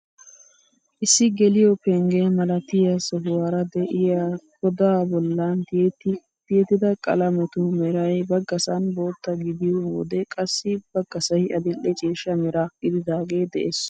Issi geliyoo pengge milatiyaa sohuwaara de'iyaa godaa bollan tiyettida qalametu meray baggasan bootta gidiyoo wode qassi baggasay adil'e ciishsha mera gididagee de'ees.